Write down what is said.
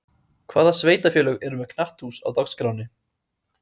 Hvaða sveitarfélög eru með knatthús á dagskránni?